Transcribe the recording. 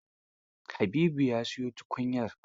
Habibu ya siyo tukunyar?